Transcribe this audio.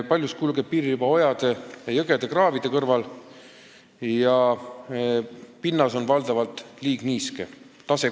Paljus kulgeb piiririba ojade ja jõgede-kraavide kõrval ning pinnas on valdavalt liigniiske.